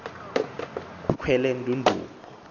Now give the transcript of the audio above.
kwelendudumo